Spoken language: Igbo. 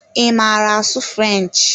Ị maara asụ French?